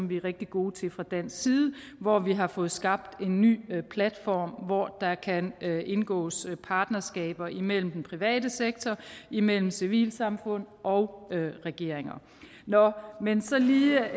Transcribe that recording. vi er rigtig gode til fra dansk side hvor vi har fået skabt en ny platform hvor der kan indgås partnerskaber imellem den private sektor imellem civilsamfund og regeringer nå men så lige et